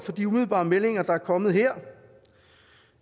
de umiddelbare meldinger der er kommet her